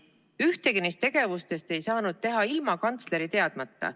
Ühtegi neist tegevustest ei saanud teha ilma kantsleri teadmata.